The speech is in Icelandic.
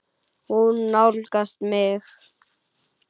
Hún nálgast mig.